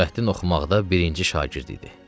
Nurəddin oxumaqda birinci şagird idi.